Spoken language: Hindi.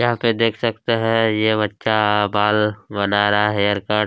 यहाँ पे देख सकते है ये बच्चा आ बाल बना रहा है हेयरकट --